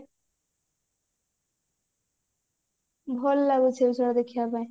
ଭଲ ଲାଗେ ସେସବୁ ଦେଖିବା ପାଇଁ